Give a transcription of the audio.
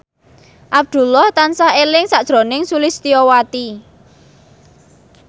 Abdullah tansah eling sakjroning Sulistyowati